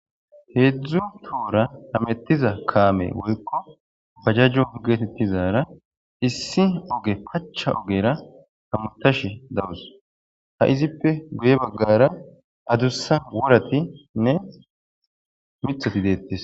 heedzdzu tora hamettiza kaame woyko bajajo getetizara issi oge pacha ogera hamutash dawus, ha izippe guye baggara adussa woratinne mithati detes.